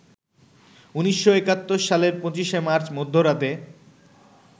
১৯৭১ সালের ২৫ মার্চ মধ্যরাতে